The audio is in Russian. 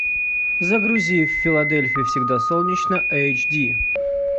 загрузи в филадельфии всегда солнечно эйч ди